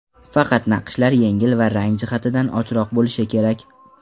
Faqat naqshlar yengil va rang jihatidan ochroq bo‘lishi kerak.